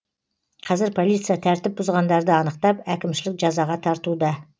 қазір полиция тәртіп бұзғандарды анықтап әкімшілік жазаға тартуда